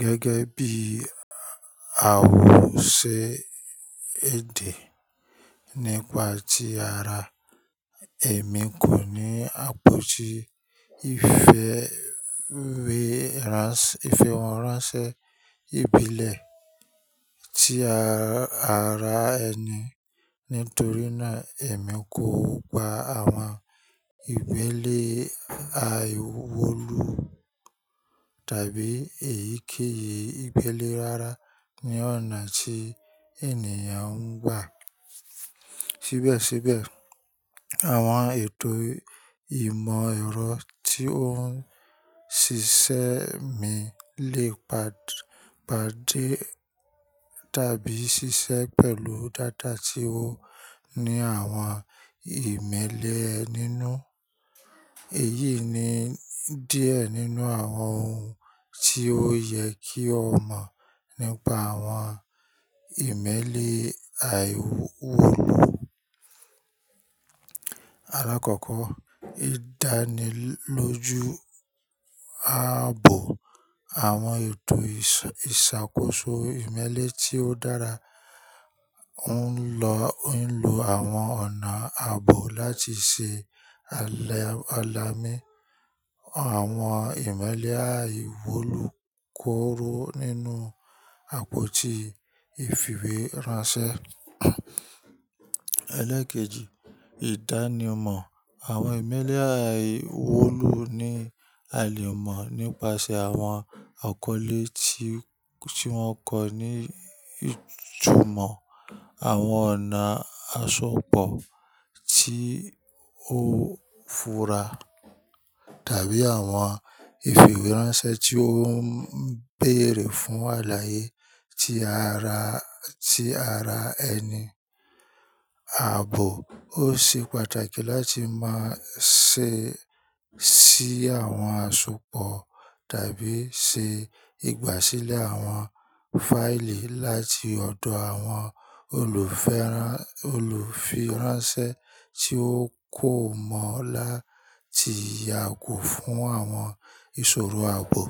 Gẹ́gẹ́ bí àwòṣe èdè nípa ti ara, èmi kò ní àpótí ìfìwéránṣẹ́ ìbílẹ̀ tí ara ẹni nítorí náà èmi kò gba àwọn ìmẹ́li àìwulo tàbí èyíkéyìí imeeli rárá ní ọ̀nà tí ènìyàn ń gbà. Síbẹ̀síbẹ̀, àwọn ètò ìmọ̀ ẹ̀rọ tí ó ń ṣiṣẹ́ mi lè pàdé tàbí ṣiṣẹ́ pẹ̀lú data tí ó ní àwọn ìmeeli nínú. Èyí ni díẹ̀ nínú àwọn ohun tí ó yẹ kí o mọ̀ nípa àwọn ìmẹ́lẹ́ àìwọlé. Alákọ̀ọ́kọ́, ìdánilójú ààbò. Àwọn ètò ìṣàkóso ìmeẹ́li tí ó dára ń lo àwọn ọ̀nà ààbò láti ṣe alam--àlàmi àwọn ìmẹ́lẹ́ àìwọlu kóró nínú àpótí ìfìwéránṣẹ́. Eleẹ́kejì, ìdánimọ̀. Àwọn ìmẹ́lẹ́ àìwọlu ní àlùmọ́nì nípasẹ̀ àwọn àkọlé ti--tí wọ́n kọ ní ìtumọ̀, àwọn ọ̀nà àsopọ̀ tí ó fura tàbí àwọn ìfìwéránṣẹ́ tí ó ń béèrè fún àlàyé tí ara, ti ara ẹni. Ààbò, ó ṣe pàtàkì láti máa ṣe ṣí àwọn àsopọ̀ tàbí ṣe ìgbàsílẹ̀ àwọn fáìlì láti ọ̀dọ̀ àwọn oluferan--olùfíránṣẹ́ tí ó kò mọ̀ láti yàgò fún àwọn ìṣòro ààbò.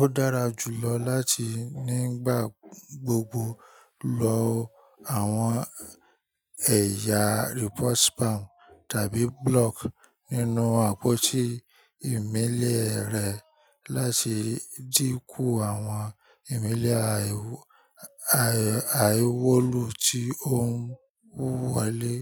Ó dára jù lọ láti nígbà gbogbo lo àwọn ẹ̀yà report spam tàbí block nínú àpótí ìmẹ́lẹ́ rẹ láti dínkú àwọn ìmẹ́lẹ́ aiwo. Aìwọlu tí ó ń wọlé.